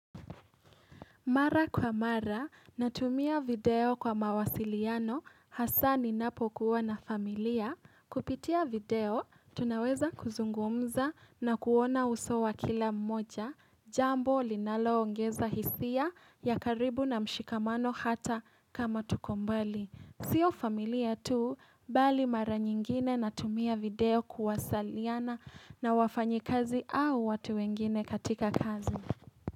Mara kwa mara, natumia video kwa mawasiliano hasa ninapokuwa na familia. Kupitia video, tunaweza kuzungumza na kuona uso wa kila mmoja. Jambo, linaloongeza hisia ya karibu na mshikamano hata kama tuko mbali. Sio familia tu, bali mara nyingine natumia video kuwasaliana na wafanyi kazi au watu wengine katika kazi.